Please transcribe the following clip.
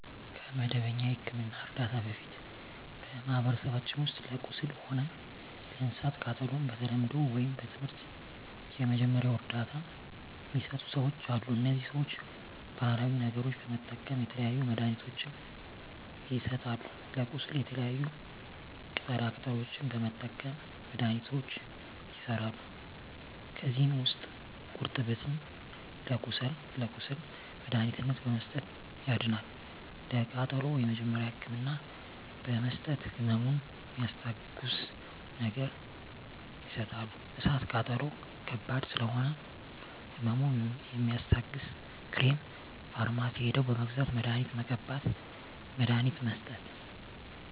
ከመደበኛ የሕክምና ዕርዳታ በፊት በማኀበረሰባችን ውስጥ ለቁስል ሆነ ለእሳት ቃጠሎው በተለምዶው ወይም በትምህርት የመጀመሪያ እርዳታ ሚሰጡ ሰዎች አሉ እነዚህ ሰዎች ባሀላዊ ነገሮች በመጠቀም የተለያዩ መድሀኒትችን ይሰጣሉ ለቁስል የተለያዩ ቅጠላ ቅጠሎችን በመጠቀም መድሀኒቶች ይሠራሉ ከዚህ ውስጥ ጉርጠብን ለቁስል መድሀኒትነት በመስጠት ያድናል ለቃጠሎ የመጀመሪያ ህክምና በመስጠት ህመሙን ሚስታግስ ነገር ይሰጣሉ እሳት ቃጠሎ ከባድ ስለሆነ ህመሙ የሚያስታግስ ክሬም ፈርማሲ ሄደው በመግዛት መድሀኒት መቀባት መድሀኒት መስጠት